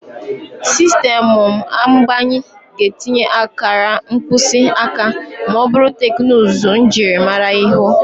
Sistemụ mgbanye ga-etinye akara mkpịsị aka ma ọ bụ teknụzụ njirimara ihu.